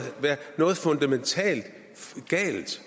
være noget fundamentalt galt